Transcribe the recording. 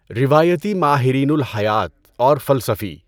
روایتی ماہرین الٰہیات اور فلسفی